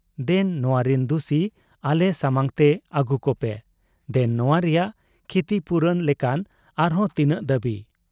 ᱫᱮᱱ ᱱᱚᱣᱟᱨᱤᱱ ᱫᱩᱥᱤ ᱟᱞᱮ ᱥᱟᱢᱟᱝ ᱛᱮ ᱟᱹᱜᱩ ᱠᱚᱯᱮ, ᱫᱮᱱ ᱱᱚᱶᱟ ᱨᱮᱭᱟᱜ ᱠᱷᱤᱛᱤᱯᱩᱨᱚᱱ ᱞᱮᱠᱟᱱ ᱟᱨᱦᱚᱸ ᱛᱤᱱᱟᱹᱜ ᱫᱟᱹᱵᱤ ᱾